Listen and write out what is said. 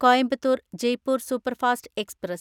Coimbatore‍ Jaipur superfast express